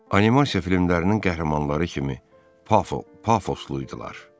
Animasiya filmlərinin qəhrəmanları kimi pafl, pafoslu idilər.